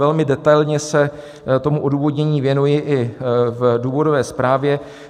Velmi detailně se tomu odůvodnění věnuji i v důvodové zprávě.